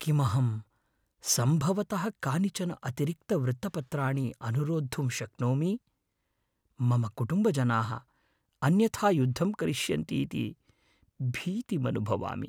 किमहं सम्भवतः कानिचन अतिरिक्तवृत्तपत्राणि अनुरोद्धुं शक्नोमि? मम कुटुम्बजनाः अन्यथा युद्धं करिष्यन्ति इति भीतिमनुभवामि।